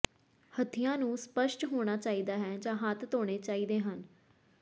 ਹੱਤੀਆਂ ਨੂੰ ਸਪੱਸ਼ਟ ਹੋਣਾ ਚਾਹੀਦਾ ਹੈ ਜਾਂ ਹੱਥ ਧੋਣੇ ਚਾਹੀਦੇ ਹਨ